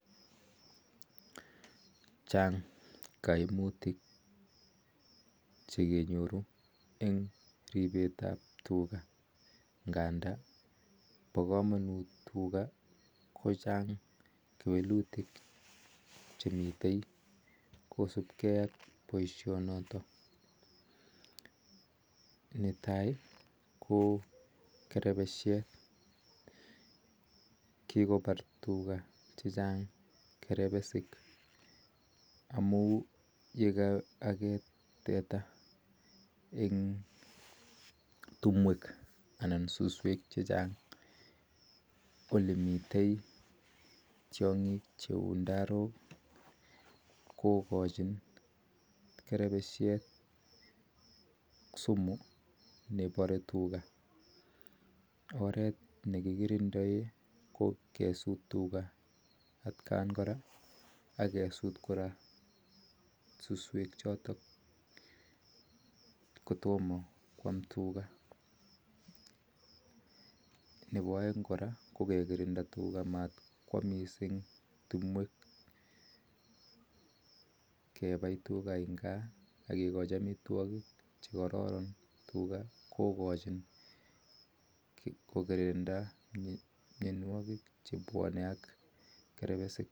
Chaang kaimutik chekenyoruu eng ripseet ap tugaa chang kewelutik cheisupigee eng welutik chotok netaii kokerepesheet amun yeekaageet teta eng timndoo konyoruu kerepesheet oret nekipareen ko kesuut susweek ak tugaa nepo aeek ko kekirinda tuga missing matkopaaaa timdooo amatkikachii tuga amitwagiik chetinye kerepesiik